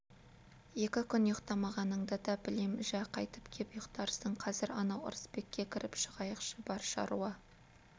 екі күн ұйықтамағаныңды да білем жә қайтып кеп ұйықтарсың қазір анау ырысбекке кіріп шығайықшы бар шаруа